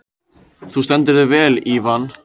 Þú stendur þig vel, Ívan!